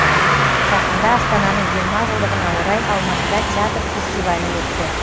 жақында астананың жиырма жылдығына орай алматыда театр фестивалі өтті